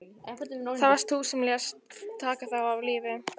Það varst þú sem lést taka þá af lífi.